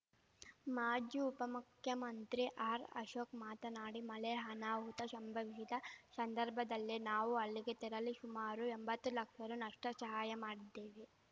ಮಾಜಿ ಉಪಮುಖ್ಯಮಂತ್ರಿ ಆರ್‌ಅಶೋಕ್‌ ಮಾತನಾಡಿ ಮಳೆ ಅನಾಹುತ ಶಂಭವಿಸಿದ ಶಂದರ್ಭದಲ್ಲೇ ನಾವು ಅಲ್ಲಿಗೆ ತೆರಳಿ ಶುಮಾರು ಎಂಬತ್ತು ಲಕ್ಷ ರುನಷ್ಟಶಹಾಯ ಮಾಡಿದ್ದೇವೆ